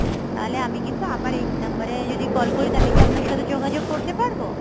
তাহলে আমি কিন্তু আবার এই number এ যদি call করি তাহলে কি আপনার সাথে যোগাযোগ করতে পারবো?